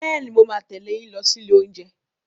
Bẹ́ẹ̀ni, mo máa tẹ̀lé yín lọ sí ilé oúnjẹ.